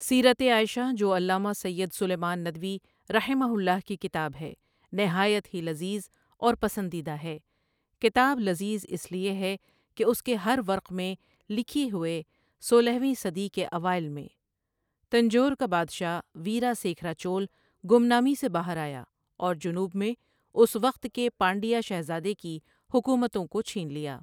سیرتِ عائشہ جو علامہ سید سُلیمان ندوی رحمہ اللہ کی کتاب ہے نہایت ہی لذیذ اور پسندیدہ ہے کتاب لذیذ اِس لیے ہے کہ اُس کے ہر ورق میں لکھی ہوئے سولہ ویں صدی کے اوائل میں، تنجور کا بادشاہ ویراسیکھرا چول گمنامی سے باہر آیا اور جنوب میں اس وقت کے پانڈیا شہزادے کی حکومتوں کو چھین لیا۔